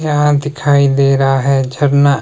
यहां दिखाई दे रहा है झरना--